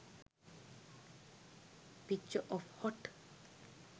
picture of hot